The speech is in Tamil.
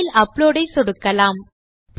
பைல் அப்லோட் ஐ சொடுக்கலாம்